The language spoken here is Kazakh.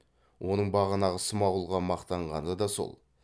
оның бағана смағұлға мақтанғаны да сол